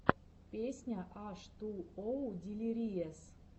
песня аш ту оу дилириэс